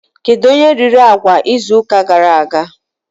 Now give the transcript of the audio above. Kedụ onye riri agwa izu ụka gara aga?